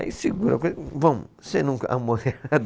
Aí segura e vamos.